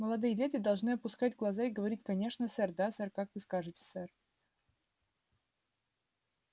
молодые леди должны опускать глаза и говорить конечно сэр да сэр как вы скажете сэр